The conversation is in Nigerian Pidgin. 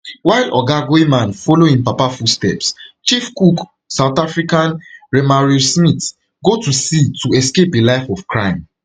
while oga goeieman follow im papa footsteps chief cook south african remario smith go to sea to escape a life of crime